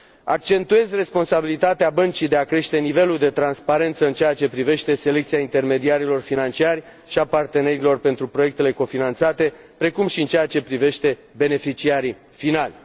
Accentuez responsabilitatea băncii de a crește nivelul de transparență în ceea ce privește selecția intermediarilor financiari și a partenerilor pentru proiectele cofinanțate, precum și în ceea ce privește beneficiarii finali.